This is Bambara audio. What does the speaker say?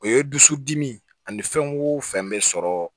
O ye dusu dimi ani fɛn wo fɛn bɛ sɔrɔ